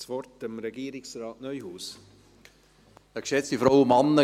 Dann gebe ich Regierungsrat Neuhaus das Wort.